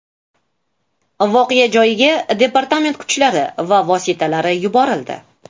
Voqea joyiga departament kuchlari va vositalari yuborildi.